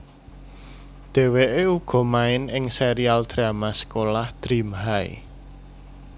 Dheweke uga main ing serial drama sekolah Dream High